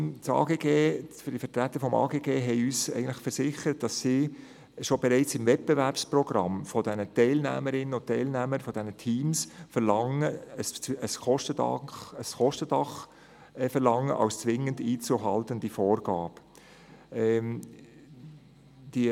Die Vertreter des Amtes für Grundstücke und Gebäude (AGG) versicherten uns, dass sie bereits im Wettbewerbsprogramm von den Teilnehmerinnen und Teilnehmern der Teams ein Kostendach als zwingend einzuhaltende Vorgabe verlangen.